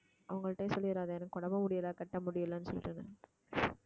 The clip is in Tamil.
அவங்கள்ட்டயும் சொல்லிறாதே எனக்கு உடம்பு முடியலை கட்ட முடியலைன்னு சொல்லிட்டு